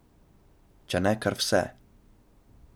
Če ne kar vse.